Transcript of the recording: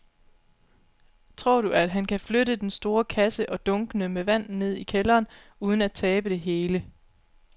Tror du, at han kan flytte den store kasse og dunkene med vand ned i kælderen uden at tabe det hele?